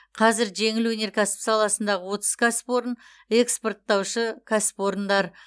қазір жеңіл өнеркәсіп саласындағы отыз кәсіпорын экспортаушы кәсіпорындар